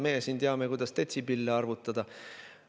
Meie siin teame, kuidas detsibelle arvutada.